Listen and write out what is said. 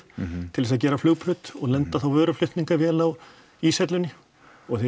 til þess að gera flugbraut og lenda þá vöruflutningavél á íshellunni og þegar